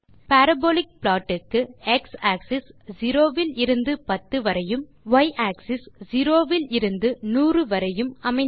parabolic plot க்கு x axis 0 இலிருந்து 10 வரையும் y ஆக்ஸிஸ் 0 இலிருந்து 100 வரையும் அமைந்துள்ளது